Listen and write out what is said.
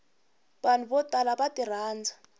vanhu vo tala va tirhandza